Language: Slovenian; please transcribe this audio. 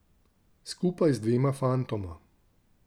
Skupaj z dvema fantoma.